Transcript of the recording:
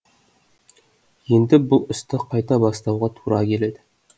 енді бұл істі қайта бастауға тура келеді